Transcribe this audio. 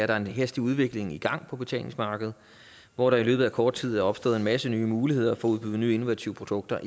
der er en hastig udvikling i gang på betalingsmarkedet hvor der i løbet af kort tid er opstået en masse nye muligheder for at udbyde nye innovative produkter